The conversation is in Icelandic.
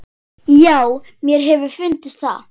Já, mér hefur fundist það.